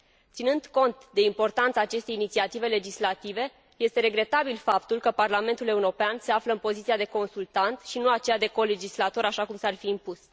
Ținând cont de importanța acestei inițiative legislative, este regretabil faptul că Parlamentul European se află în poziția de consultat și nu aceea de colegislator, așa cum s ar fi impus.